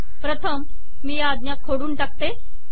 प्रथम मी या आज्ञा खोडून टाकते